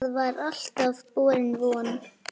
Það var alltaf borin von